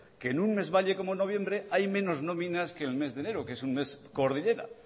que en un mes valle como noviembre hay menos nóminas que en el mes de enero que es un mes cordillera